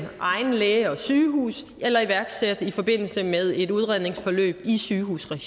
egen læge og sygehus eller iværksat i forbindelse med et udredningsforløb i sygehusregi